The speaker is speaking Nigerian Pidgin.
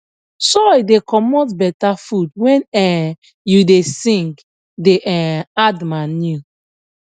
soil da comot better food when um you da sing da um add manure